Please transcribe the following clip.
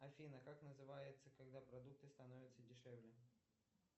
афина как называется когда продукты становятся дешевле